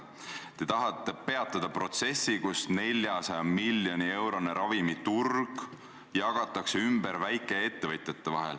Te tahate peatada protsessi, mille käigus 400 miljoni eurone ravimiturg jagatakse ümber väikeettevõtjate vahel.